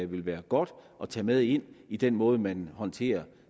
ville være godt at tage med ind i den måde man håndterer